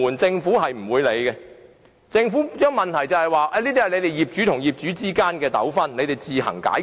政府不會處理，只會說這是業主與業主之間的糾紛，可自行解決。